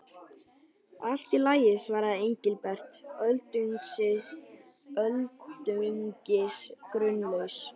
Allt í lagi svaraði Engilbert, öldungis grunlaus.